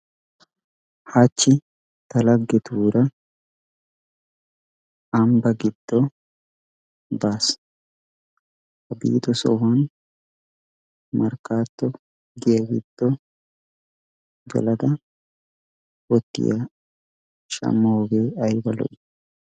Hachchi ta laggetuura ambba gido baasi. Ta biido sohuwan markkatto giya gido gelada boottiya shammogee ayba lo'ii?